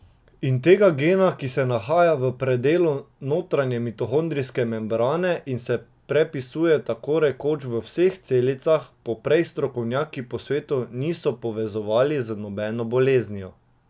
In tega gena, ki se nahaja v predelu notranje mitohondrijske membrane in se prepisuje tako rekoč v vseh celicah, poprej strokovnjaki po svetu niso povezovali z nobeno boleznijo.